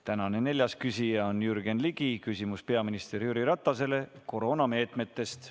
Tänane neljas küsija on Jürgen Ligi, küsimus peaminister Jüri Ratasele koroonameetmete kohta.